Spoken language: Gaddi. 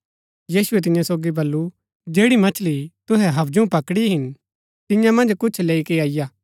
यीशुऐ तियां सोगी बल्लू जैड़ी मछली तुहै हबजु पकड़ी हिन तियां मन्ज कुछ लैई के अईआ